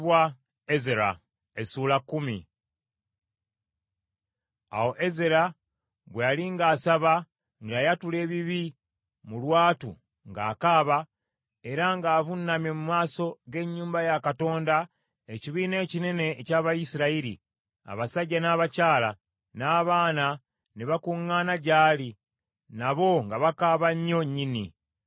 Awo Ezera bwe yali ng’asaba, ng’ayatula ebibi mu lwatu, ng’akaaba, era ng’avunnamye mu maaso g’ennyumba ya Katonda, ekibiina ekinene eky’Abayisirayiri, abasajja, n’abakyala, n’abaana ne bakuŋŋaana gy’ali, nabo nga bakaaba nnyo nnyini.